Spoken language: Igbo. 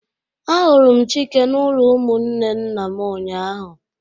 A huru Chike n'ulo umunne nna m ụnyahụ